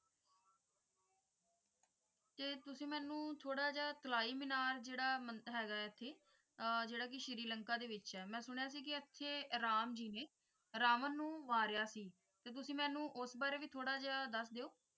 ਤੁਸੀ ਮੈਨੂੰ ਥੋੜਾ ਜੇਹਾ ਤਲਾਈ ਮੀਨਾਰ ਜੇੜਾ ਮਨ~ ਹੈਗਾ ਇਥੇ ਆਹ ਜੇੜਾ ਕਿ ਸ਼੍ਰੀ ਲੰਕਾ ਦੇ ਵਿਚ ਹੈ ਮੈਂ ਸੁਣਿਆ ਸੀ ਕਿ ਇਥੇ ਰਾਮ ਜੀ ਨੇ ਰਾਵਣ ਨੂੰ ਮਾਰਿਆ ਸੀ ਤੇ ਤੁਸੀ ਮੈਨੂੰ ਉਸ ਬਾਰੇ ਵੀ ਥੋੜਾ ਜੇਹਾ ਦੱਸ ਦੇਯੋ ।